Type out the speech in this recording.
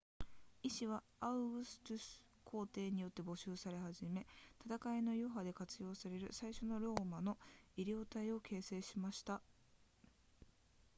医師はアウグストゥス皇帝によって募集され始め戦いの余波で活用される最初のローマの医療隊を形成しました